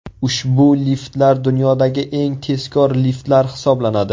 Ushbu liftlar dunyodagi eng tezkor liftlar hisoblanadi.